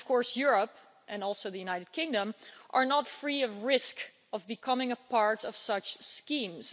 Europe and also the United Kingdom are not free of the risk of becoming a part of such schemes.